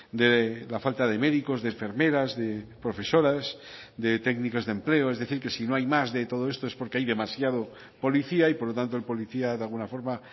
de la falta de médicos de enfermeras de profesoras de técnicas de empleo es decir que si no hay más de todo esto es porque hay demasiado policía y por lo tanto el policía de alguna forma